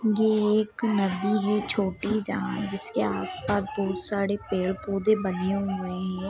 ये एक नदी है छोटी जहाँ जिसके आस पास बहुत सारे पेड़ पोधे बने हुए है।